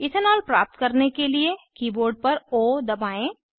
ethanol प्राप्त करने के लिए कीबोर्ड पर ओ दबाएं